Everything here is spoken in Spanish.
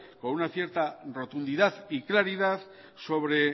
con una cierta rotundidad y claridad sobre